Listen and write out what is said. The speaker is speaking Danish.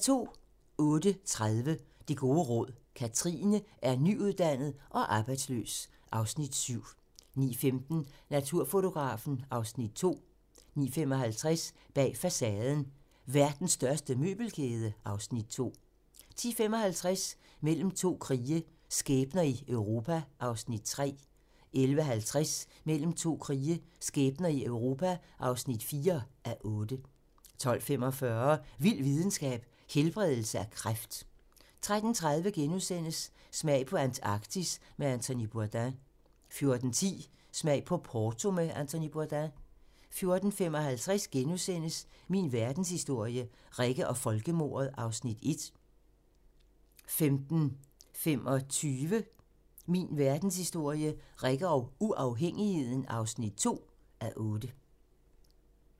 08:30: Det gode råd: Kathrine er nyuddannet og arbejdsløs (Afs. 7) 09:15: Naturfotografen (Afs. 2) 09:55: Bag facaden: Verdens største møbelkæde (Afs. 2) 10:55: Mellem to krige - skæbner i Europa (3:8) 11:50: Mellem to krige - skæbner i Europa (4:8) 12:45: Vild videnskab: Helbredelse af kræft 13:30: Smag på Antarktis med Anthony Bourdain * 14:10: Smag på Porto med Anthony Bourdain 14:55: Min verdenshistorie - Rikke og folkemordet (1:8)* 15:25: Min verdenshistorie - Rikke og uafhængigheden (2:8)